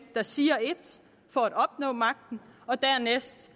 der siger et for at opnå magten og dernæst